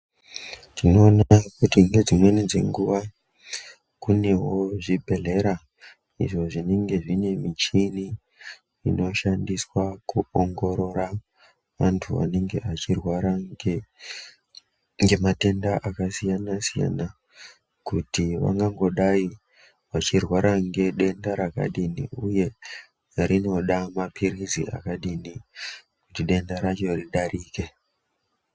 Tinoona kuti nedzimweni dzenguwa kunewo zvibhehlera izvo zvinenge zvine michini inoshandiswa kuongorora vantu vanenge vachi rwara ngematenda akasiyanasiyana kuti vangangodai vachirwara ngedenda rakadini uye rinoda mapilizi akadini kuti denda racho ridarike.